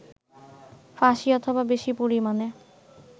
ফাঁসি অথবা বেশি পরিমানে